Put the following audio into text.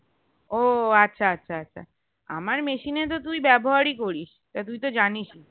ও আচ্ছা আচ্ছা আচ্ছা আমার machine এ তো তুই ব্যবহার ই করিস এবার তুই তো জানিস ই